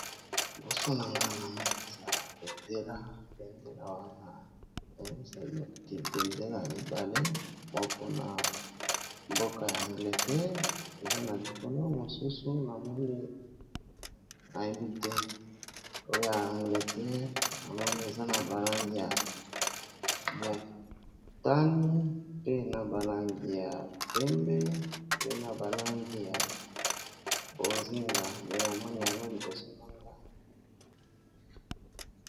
Liboso nanga na moni eza bendela wana bendela mibale moko na mboka ya angleterre eza na likolo mosusu na moni na yebi te oya angleterre na moni eza na balangi ya motani, pe na balangi ya pembe, pe na balangi ya bozinga. mpe namoni yango liboso nanga.